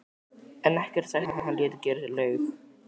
en ekkert er sagt um að hann léti gera laug.